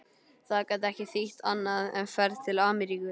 Það gat ekki þýtt annað en ferð til Ameríku.